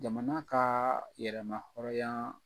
Jamana ka yɛrɛma hɔrɔnya